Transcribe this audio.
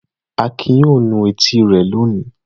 Akin yóò nu etí rẹ̀ lónìí.